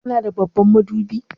Kana da babban madubi?